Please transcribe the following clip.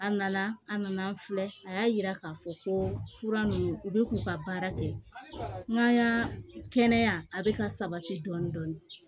A nana an nana an filɛ a y'a yira k'a fɔ ko fura ninnu u bɛ k'u ka baara kɛ n'an y'an kɛnɛya kɛnɛya bɛ ka sabati dɔɔni dɔɔni